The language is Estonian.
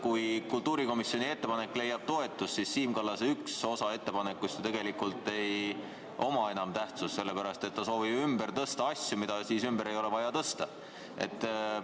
Kui kultuurikomisjoni ettepanek leiab toetust, siis üks osa Siim Kallase ettepanekust ju tegelikult ei oma enam tähtsust, sellepärast et ta soovib ümber tõsta asju, mida siis enam ei ole vaja ümber tõsta.